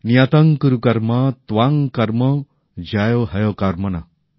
নিয়তং কুরু কর্ম ত্বং কর্ম জ্যায়ো হ্যকর্মণঃ